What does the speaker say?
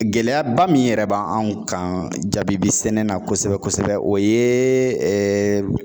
Gɛlɛyaba min yɛrɛ b'an anw kan jabibi sɛnɛ na kosɛbɛ-kosɛbɛ o ye